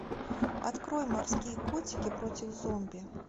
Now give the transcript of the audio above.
открой морские котики против зомби